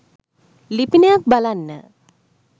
ලිපියනයක් බලන්න